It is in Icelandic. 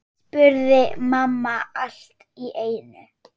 spurði mamma allt í einu.